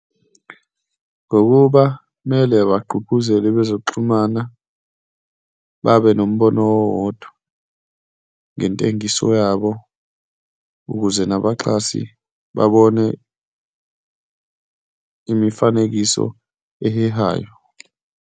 Ngokuba kumele bagqugquzele abe zokuxhumana, babe nombono owodwa ngentengiso yabo ukuze nabaxhasi babone imifanekiso ehehayo.